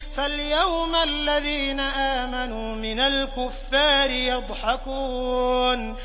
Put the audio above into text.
فَالْيَوْمَ الَّذِينَ آمَنُوا مِنَ الْكُفَّارِ يَضْحَكُونَ